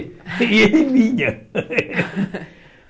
E ele vinha.